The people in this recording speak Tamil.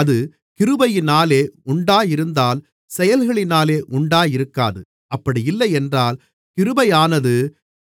அது கிருபையினாலே உண்டாயிருந்தால் செயல்களினாலே உண்டாயிருக்காது அப்படியில்லை என்றால் கிருபையானது